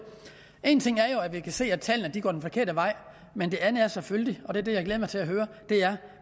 en ting er jo at vi kan se at tallene går den forkerte vej men det andet er selvfølgelig og det er det jeg glæder mig til at høre